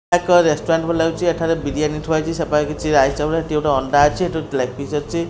ଏକ ରେଷ୍ଟୁରାଣ୍ଟ ଭଳି ଲାଗୁଛି ଏଠାରେ ବିରିଆନି ଥୁଆ ହେଇଛି ସେପାଖେ କିଛି ରାଇସ ଚାଉଳ ସେଠି ଗୋଟେ ଅଣ୍ଡା ଅଛି ସେଠି ଗୋଟେ ଲେଗ୍ ପିସ ଅଛି।